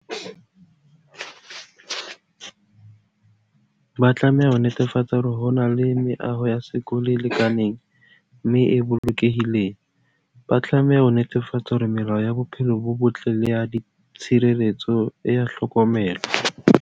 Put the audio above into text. Ba tlameha ho netefatsa hore ho na le meaho ya sekolo e lekaneng mme e bolokehileng. Ba tlameha ho netefatsa hore melao ya bophelo bo botle le ya tshireletso, e a hlokomelwa.